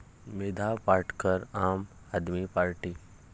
मेधा पाटकर आम आदमी पार्टीत?